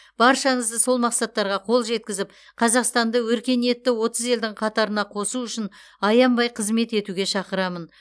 баршаңызды сол мақсаттарға қол жеткізіп қазақстанды өркениетті отыз елдің қатарына қосу үшін аянбай қызмет етуге шақырамын